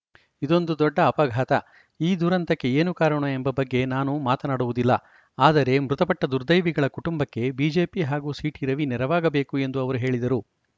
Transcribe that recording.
ಇದೊಂದು ದೊಡ್ಡ ಅಪಘಾತ ಈ ದುರಂತಕ್ಕೆ ಏನು ಕಾರಣ ಎಂಬ ಬಗ್ಗೆ ನಾನು ಮಾತನಾಡುವುದಿಲ್ಲ ಆದರೆ ಮೃತಪಟ್ಟದುರ್ದೈವಿಗಳ ಕುಟುಂಬಕ್ಕೆ ಬಿಜೆಪಿ ಹಾಗೂ ಸಿಟಿ ರವಿ ನೆರವಾಗಬೇಕು ಎಂದು ಅವರು ಹೇಳಿದರು